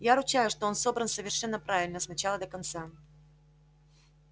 я ручаюсь что он собран совершенно правильно с начала до конца